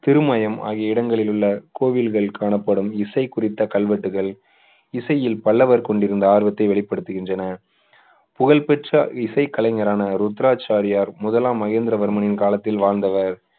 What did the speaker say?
திருமயம் ஆகிய இடங்களில் உள்ள கோவில்கள் காணப்படும் இசை குறித்த கல்வெட்டுகள் இசையில் பல்லவர் கொண்டிருந்த ஆர்வத்தை வெளிப்படுத்துகின்றன புகழ்பெற்ற இசைக் கலைஞரான ருத்ராட்சாரியார் முதலாம் மகேந்திரவர்மனின் காலத்தில் வாழ்ந்தவர்